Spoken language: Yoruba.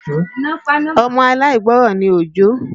Ọmọ aláìgbọrọ̀ ní Òjó